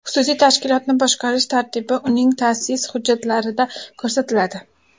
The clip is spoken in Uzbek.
Xususiy tashkilotni boshqarish tartibi uning ta’sis hujjatlarida ko‘rsatiladi.